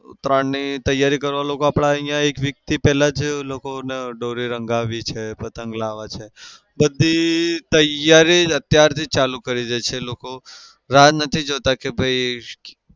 ઉતરાયણની તૈયારી કરવા લોકો આપડે અહિયાં એક week થી પેલા જ લોકોને દોરી રંગાવી છે પતંગ લાવે છે. બધી તૈયારી જ અત્યારથી જ ચાલુ કરી દે છે લોકો. રાહ નથી જોતા કે ભાઈ